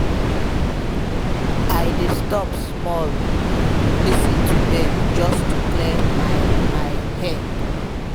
i dey stop small um lis ten to bird just to clear my my head.